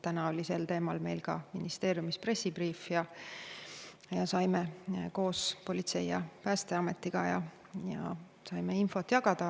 Täna oli meil ka ministeeriumis selleteemaline pressibriif, mida tegime koos politsei ja Päästeametiga, saime seal infot jagada.